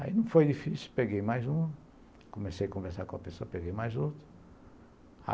Aí não foi difícil, peguei mais uma, comecei a conversar com a pessoa, peguei mais outra.